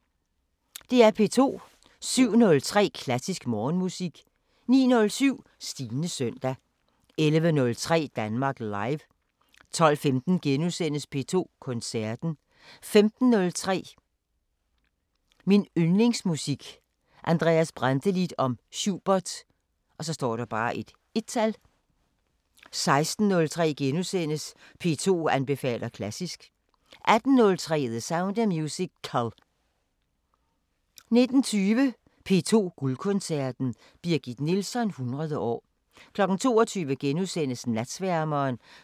07:03: Klassisk Morgenmusik 09:07: Stines søndag 11:03: Danmark Live 12:15: P2 Koncerten * 15:03: Min yndlingsmusik: Andreas Brantelid om Schubert 1 16:03: P2 anbefaler klassisk * 18:03: The Sound of Musical 19:20: P2 Guldkoncerten: Birgit Nilsson 100 år 22:00: Natsværmeren *(søn-fre)